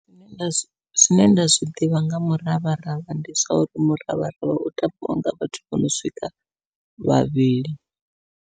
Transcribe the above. Zwine nda zwi zwine nda zwiḓivha nga muravharavha ndi zwa uri muravharavha u tambiwa nga vhathu vho no swika vhavhili.